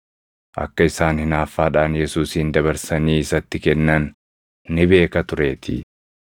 Akka isaan hinaaffaadhaan Yesuusin dabarsanii isatti kennan ni beeka tureetii.